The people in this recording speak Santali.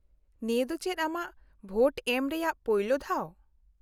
-ᱱᱤᱭᱟᱹ ᱫᱚ ᱪᱮᱫ ᱟᱢᱟᱜ ᱵᱷᱳᱴ ᱥᱮᱢ ᱨᱮᱭᱟᱜ ᱯᱚᱭᱞᱳ ᱫᱷᱟᱣ ?